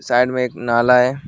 Side में एक नाला है।